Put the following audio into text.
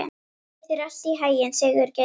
Gangi þér allt í haginn, Sigurgeir.